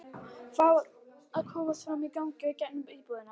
Fá að komast fram á gang í gegnum íbúðina.